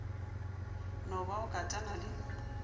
no ba o katana le